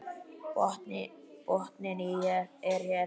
Botninn er hér!